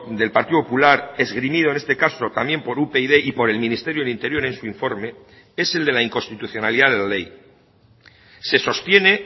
del partido popular esgrimido en este caso también por upyd y por el ministerio de interior en su informe es el de la inconstitucionalidad de la ley se sostiene